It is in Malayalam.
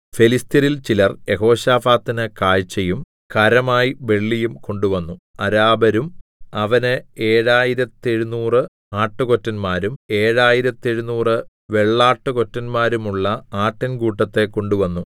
ഫെലിസ്ത്യരിൽ ചിലർ യെഹോശാഫാത്തിന് കാഴ്ചയും കരമായി വെള്ളിയും കൊണ്ടുവന്നു അരാബരും അവന് ഏഴായിരത്തെഴുനൂറ് ആട്ടുകൊറ്റന്മാരും ഏഴായിരത്തെഴുനൂറ് വെള്ളാട്ടുകൊറ്റന്മാരുമുള്ള ആട്ടിൻകൂട്ടത്തെ കൊണ്ടുവന്നു